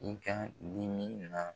I ka dimi na.